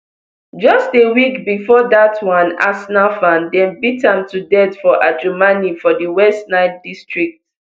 just a week bifor dat one arsenal fan dem beat am to death for adjumani for di west nile district